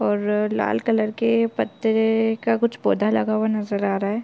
ओर ररर लाल कलर के पत्तेए का कुछ पौधा लगा हुआ नज़र आ रहा हैं ।